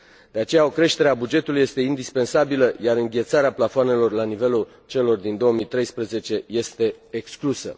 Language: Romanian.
De aceea, o creștere a bugetului este indispensabilă, iar înghețarea plafoanelor la nivelul celor din 2013 este exclusă.